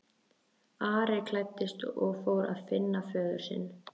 Ari klæddist og fór að finna föður sinn.